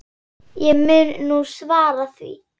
Ég mun nú svara því.